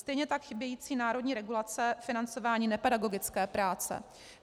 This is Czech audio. Stejně tak chybějící národní regulace financování nepedagogické práce.